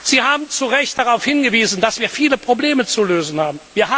Sie haben zu Recht darauf hingewiesen, dass wir viele Probleme zu lösen haben.